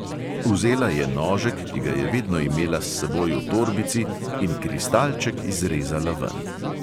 Vzela je nožek, ki ga je vedno imela s seboj v torbici, in kristalček izrezala ven.